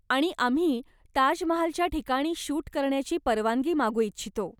आणि आम्ही ताजमहालच्या ठिकाणी शूट करण्याची परवानगी मागू इच्छितो.